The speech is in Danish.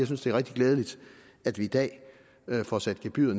synes det er rigtig glædeligt at vi i dag får sat gebyret